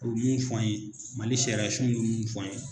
U bi fɔ an ye MALI ka sariyasun bi mun fɔ an ye.